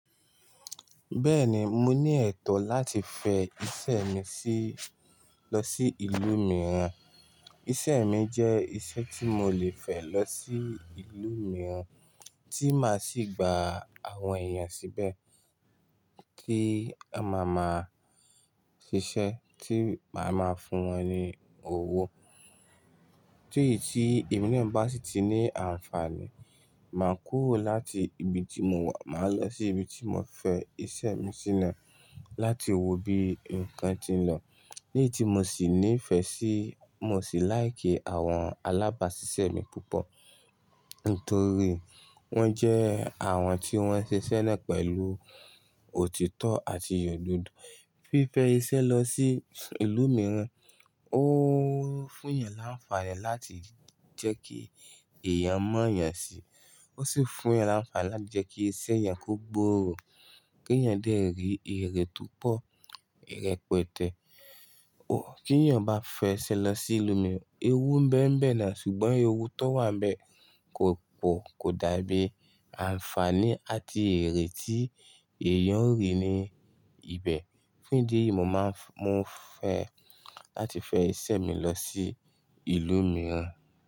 Bẹ́ẹ̀ni, mo ní ẹ̀tọ́ láti fẹ ìṣe mi sí ìlú mìíràn. Ìṣe mi jẹ́ ìṣe tí mo lè fẹ lọ sí ìlú mìíràn tí máa sì gba àwọn èèyàn síbẹ̀ kí a máa ma ṣiṣẹ́ tí màá máa fún wọn ní owó. Tó ì tí emina bá sì ti ní àǹfààní, màá kúrò láti ibi tí mo wà, màá lọ sí ibi tí mo fẹ ìṣe mi sí náà, láti wo bí ǹkan ti ń lọ. Ní ití mo sì nífẹ̀ẹ́ sí, mo sì láìki àwọn alábàáṣiṣẹ́ mi púpọ̀ nítorí wọ́n jẹ́ àwọn tí wọ́n ń ṣiṣẹ́ náà pẹ̀lú òtítọ́ àti ododo. Fífẹ ìṣe lọ sí ìlú mìíràn ó fún èèyàn láǹfààní láti jẹ́ kí èèyàn mọ̀ èèyàn si, ó sì fún èèyàn láǹfààní láti jẹ́ kí iṣẹ́ èèyàn kó gbòòrò kí èèyàn dè rí ìrẹ túpọ̀, ìrẹ pẹ̀tẹ̀. Tí èèyàn bá fẹ́ iṣe lọ sí ìlú mìíràn, ewú ń bẹ ń bẹ náà ṣùgbọ́n ewú tó wà bẹ, kò dàbí àǹfààní àti erẹ tí èèyàn ó rí ní ibẹ̀. Ní idi eyi mo fẹ láti fẹ ìṣe mi lọ sí ìlú mìíràn.